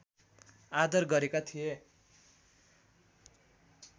आदर गरेका थिए